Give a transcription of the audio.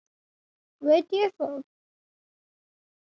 Veit ég það?